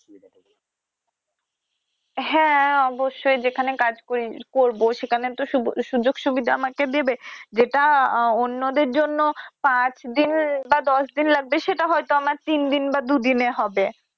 হ্যা অবশ্যই যেখানে কাজ করব সেখানে তো সুযোগ সুবিধা আমাকে দেবে যেটা আহ অন্যদের জন্য পাচদিন বা দশদিন লাগবে সেটা হয়তো আমার তিনদিন বা দুদিনে হবে।